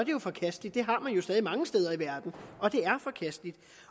jo forkasteligt det har man jo stadig mange steder i verden